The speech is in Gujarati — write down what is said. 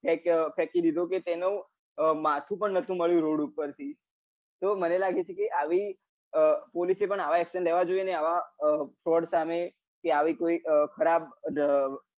તેને ફેંકી દીધો હતો કે તેનું માથું બ નાતુ મળ્યું રોડ ઉપર થી તો મને લાગે છે કે આ police એ પણ આવા લેવા જોઈએ ને આવા fraud સામે કે આવી કોઈ ખરાબ